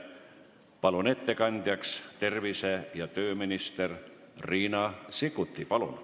Palun ettekandjaks tervise- ja tööminister Riina Sikkuti!